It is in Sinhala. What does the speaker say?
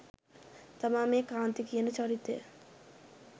තමා මේ කාන්ති කියන චරිතය.